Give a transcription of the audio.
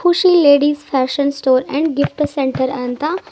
ಖುಷಿ lady fashion store and gift centre ಅಂತ--